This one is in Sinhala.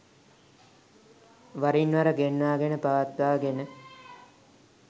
වරින්වර ගෙන්වාගෙන පවත්වාගෙන